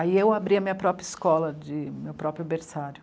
Aí eu abri a minha própria escola de, meu próprio Berçário.